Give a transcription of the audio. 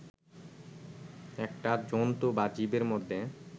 একটা জন্তু বা জীবের মধ্যে